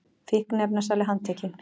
Fíkniefnasali handtekinn